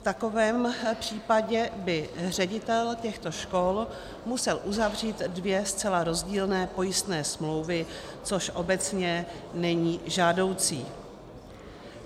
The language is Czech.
V takovém případě by ředitel těchto škol musel uzavřít dvě zcela rozdílné pojistné smlouvy, což obecně není žádoucí.